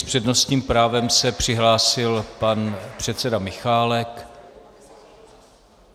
S přednostním právem se přihlásil pan předseda Michálek.